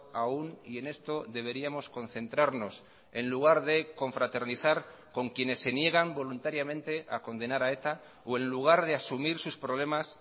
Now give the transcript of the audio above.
aún y en esto deberíamos concentrarnos en lugar de confraternizar con quienes se niegan voluntariamente a condenar a eta o en lugar de asumir sus problemas